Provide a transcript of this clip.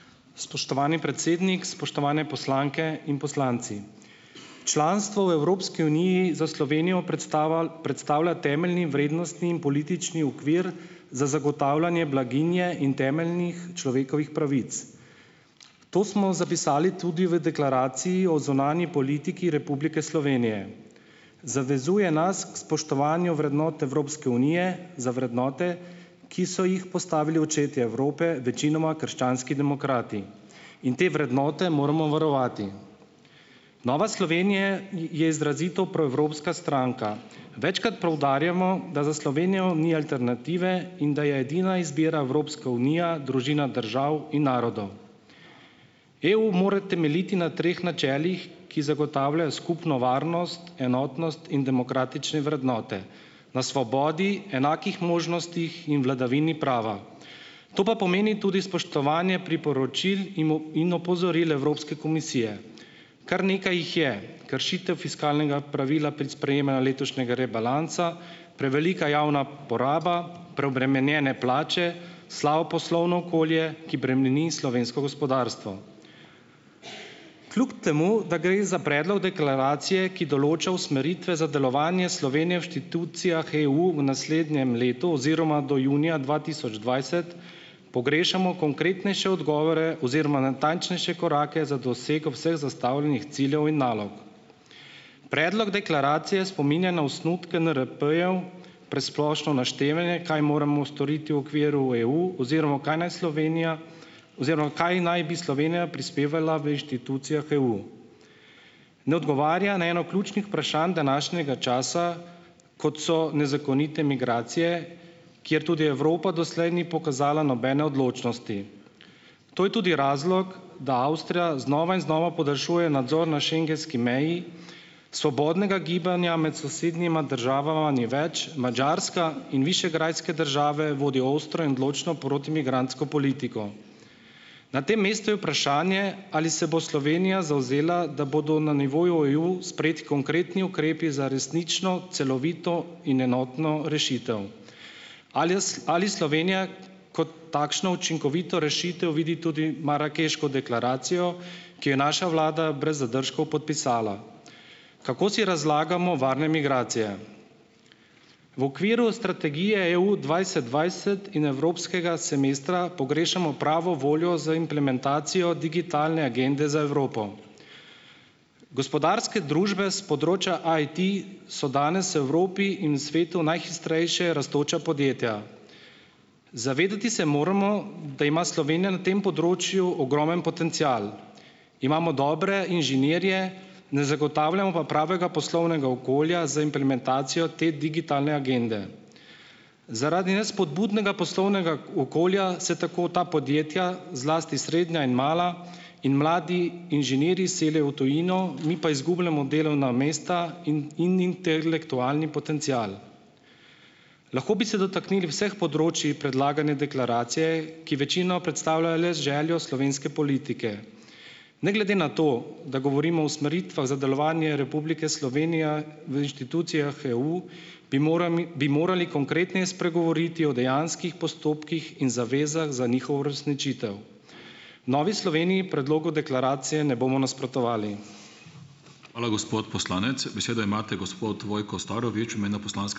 Spoštovani predsednik. Spoštovane poslanke in poslanci! Članstvo v Evropski uniji za Slovenijo predstavlja temeljni vrednostni in politični okvir za zagotavljanje blaginje in temeljnih človekovih pravic. To smo zapisali tudi v deklaraciji o zunanji politiki Republike Slovenije. Zavezuje nas k spoštovanju vrednot Evropske unije za vrednote, ki so jih postavili očetje Evrope, večinoma krščanski demokrati. In te vrednote moramo varovati. Nova Slovenje je izrazito proevropska stranka. Večkrat poudarjamo, da za Slovenijo ni alternative in da je edina izbira Evropska unija družina držav in narodov. EU mora temeljiti na treh načelih, ki skupno varnost, enotnost in demokratične vrednote, na svobodi, enakih možnostih in vladavini prava. To pa pomeni tudi spoštovanje priporočil in opozoril Evropske komisije. Kar nekaj jih je. fiskalnega pravila pri letošnjega rebalansa, prevelika javna poraba, preobremenjene plače, slabo poslovno okolje, ki bremeni slovensko gospodarstvo. Kljub temu da gre za predlog deklaracije, ki določa usmeritve za delovanje Slovenije v inštitucijah EU v naslednjem letu oziroma do junija dva tisoč dvajset, pogrešamo konkretnejše odgovore oziroma natančnejše korake za dosego vseh zastavljenih ciljev in nalog. Predlog deklaracije spominja na osnutke NRP-jev presplošno naštevanje, kaj moramo storiti v okviru EU oziroma kaj naj Slovenija kaj naj bi Slovenija prispevala v inštitucijah EU. Ne odgovarja na eno ključnih današnjega časa, kot so nezakonite migracije, kjer tudi Evropa do slej ni pokazala nobene odločnosti. To je tudi razlog, da Avstrija znova in znova podaljšuje nadzor na schengenski meji, svobodnega gibanja med sosednjima državama ni več, Madžarska in višegrajske države vodijo ostro in odločno protimigrantsko politiko. Na tem mestu je vprašanje, ali se bo Slovenija zavzela, da bodo na nivoju EU sprejeti konkretni ukrepi za resnično, celovito in enotno rešitev. Alis ali Slovenija kot takšno učinkovito rešitev vidi tudi marakeško deklaracijo, ki jo naša vlada brez zadržkov podpisala? Kako si razlagamo varne migracije? V okviru strategije EU dvajset dvajset in evropskega semestra pogrešamo pravo voljo za implementacijo digitalne agende za Evropo. Gospodarske družbe s področja IT so danes Evropi in svetu najhitrejše rastoča podjetja. Zavedati se moramo, da ima Slovenja na tem področju ogromen potencial, imamo dobre inženirje, ne zagotavljamo pa pravega poslovnega okolja z implementacijo te digitalne agende. Zaradi nespodbudnega poslovnega v okolja se tako ta podjetja, zlasti srednja in mala, in mladi inženirji selijo v tujino, mi pa izgubljamo delovna mesta in intelektualni potencial. Lahko bi se dotaknili vseh področij predlagane deklaracije, ki večino predstavljajo le željo slovenske politike. Ne glede na to, da govorimo o usmeritvah za delovanje Republike Slovenije v inštitucijah EU bi morami bi morali konkretneje spregovoriti o dejanskih postopkih in zavezah za njihov uresničitev. Novi Sloveniji predlogu deklaracije ne bomo nasprotovali. Hvala, gospod poslanec. Besedo imate gospod Vojko Starovič v imenu poslanske ...